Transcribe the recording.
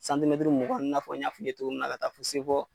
mugan a b'i n'a fɔ n y'a f'i ye cogo min na ka taa se fɔ